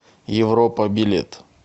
европа билет